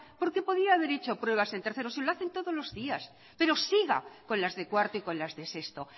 porque podía haber hecho pruebas en tercero si lo hacen todos los días pero siga con las de cuarto y con las de sexto